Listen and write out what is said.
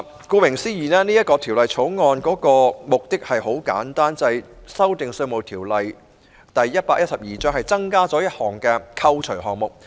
顧名思義，《條例草案》的目的很簡單，就是修訂《條例》並增加一個扣除項目。